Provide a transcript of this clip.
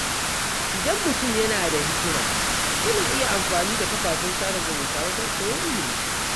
Idan mutum yana da hikima, yana iya amfani da kafafen sada zumunta wajen koyon ilimi.